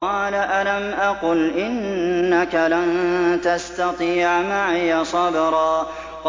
قَالَ أَلَمْ أَقُلْ إِنَّكَ لَن تَسْتَطِيعَ مَعِيَ صَبْرًا